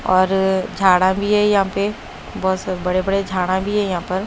और झाड़ा भी है यहां पे बहुत स बड़े-बड़े झाड़ा भी है यहां पर।